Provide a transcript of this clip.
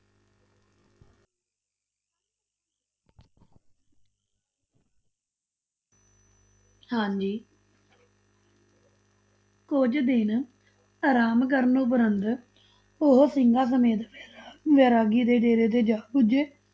ਹਾਂਜੀ ਕੁਝ ਦਿਨ ਆਰਾਮ ਕਰਨ ਉਪਰੰਤ ਉਹ ਸਿੰਘਾਂ ਸਮੇਤ ਵੈਰਾ~ ਵੈਰਾਗੀ ਦੇ ਡੇਰੇ ਤੇ ਜਾ ਪੁਜੇ।